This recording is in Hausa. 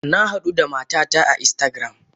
Nahadu da matata a instagram.